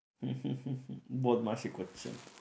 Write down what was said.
বদমাইসি করছে